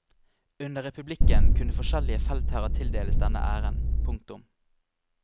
Under republikken kunne forskjellige feltherrer tildeles denne æren. punktum